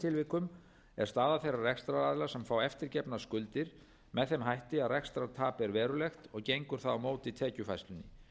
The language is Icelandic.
tilvikum er staða þeirra rekstraraðila sem fá eftirgefnar skuldir með þeim hætti að rekstrartap er verulegt og gengur það á móti tekjufærslunni